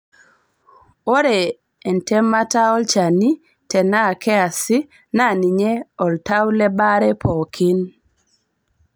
Ore entemata olchani tenaa keasi naa ninye oltau le baare pookin.